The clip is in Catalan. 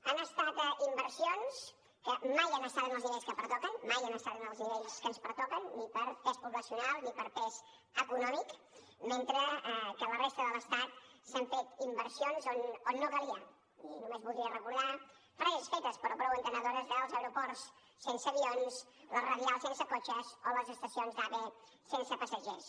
han estat inversions que mai han estat en els nivells que pertoquen mai han estat en els nivells que ens pertoquen ni per pes poblacional ni per pes econòmic mentre que a la resta de l’estat s’han fet inversions on no calia i només voldria recordar frases fetes però prou entenedores dels aeroports sense avions les radials sense cotxes o les estacions d’ave sense passatgers